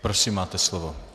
Prosím, máte slovo.